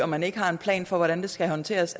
man ikke har en plan for hvordan det skal håndteres